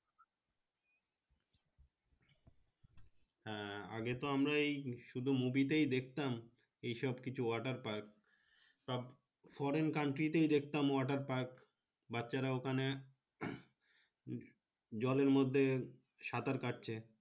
হ্যাঁ আগে তো আমরা এই সুদু movie তেই দেকতাম এই সব কিছু water park সব Foreign country তেই দেকতাম water park বাচ্চা রা ওখানে জলের অর্ধে সাঁতার কাটছে।